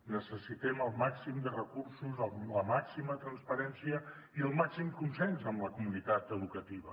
necessitem el màxim de recursos la màxima transparència i el màxim consens amb la comunitat educativa